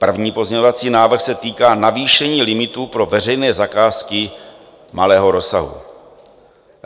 První pozměňovací návrh se týká navýšení limitů pro veřejné zakázky malého rozsahu.